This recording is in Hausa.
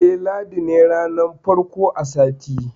Eh, ladi ne ranar farko a sati.